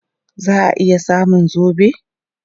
Za a iya samun zobe?